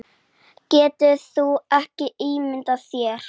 Geturðu ímyndað þér.